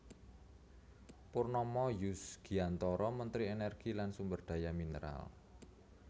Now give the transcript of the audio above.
Purnomo Yusgiantoro Menteri Energi lan Sumberdaya Mineral